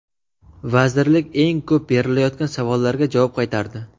Vazirlik eng ko‘p berilayotgan savollarga javob qaytardi.